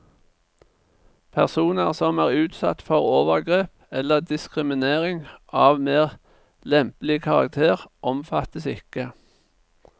Personer som er utsatt for overgrep, eller diskriminering, av mer lempelig karakter, omfattes ikke.